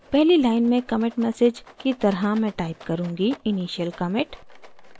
पहली line में commit message की तरह मैं type करुँगी: initial commit